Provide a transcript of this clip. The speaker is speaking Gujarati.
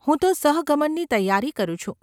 હું તો સહગમનની તૈયારી કરું છું.